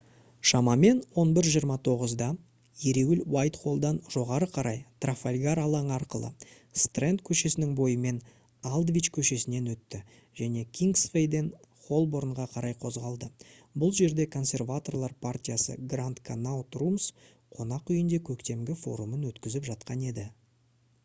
шамамен 11:29-да ереуіл уайтхоллдан жоғары қарай трафальгар алаңы арқылы стрэнд көшесінің бойымен алдвич көшесінен өтті және кингсвейден холборнға қарай қозғалды. бұл жерде консерваторлар партиясы grand connaught rooms қонақүйінде көктемгі форумын өткізіп жатқан еді